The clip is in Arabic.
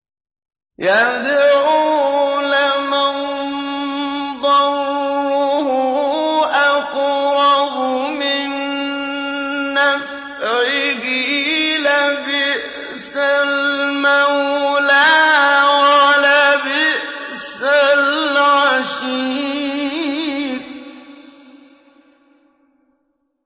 يَدْعُو لَمَن ضَرُّهُ أَقْرَبُ مِن نَّفْعِهِ ۚ لَبِئْسَ الْمَوْلَىٰ وَلَبِئْسَ الْعَشِيرُ